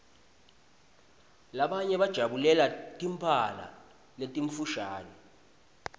labanye bajabulela timphala letimfushane